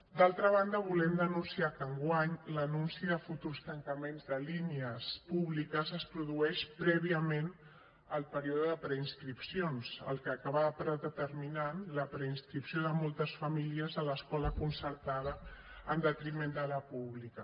d’altra banda volem denunciar que enguany l’anunci de futurs tancaments de línies públiques es produeix prèviament al període de preinscripcions fet que acabarà predeterminant la preinscripció de moltes famílies a l’escola concertada en detriment de la pública